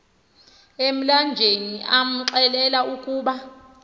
emlanjeni amxelela ukuba